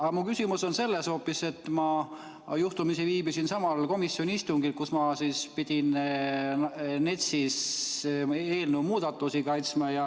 Aga mu küsimus on hoopis selle kohta, et ma juhtumisi viibisin samal komisjoni istungil ja pidin seal NETS-i eelnõu muudatusi kaitsma.